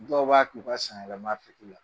Dɔw b'a k'u ka sanyɛlɛmaffini ye